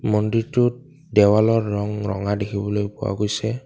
মন্দিৰটোৰ দেৱালৰ ৰং ৰঙা দেখিবলৈ পোৱা গৈছে।